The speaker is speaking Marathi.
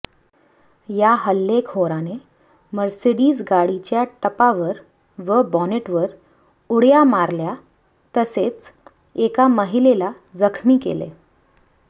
या हल्लेखोराने मर्सिडीज गाडीच्या टपावर व बॉनेटवर उड्या मारल्या तसेच एका महिलेला जखमी केले